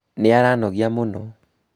nĩaranogia mũno